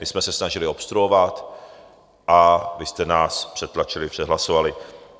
My jsme se snažili obstruovat a vy jste nás přetlačili, přehlasovali.